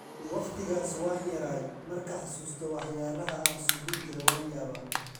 Waqtikas waan yaray ,marka xasusto waxyalah aan suubinijire waan yaabaa.